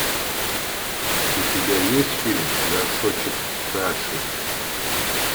у тебя есть фильм горшочек каши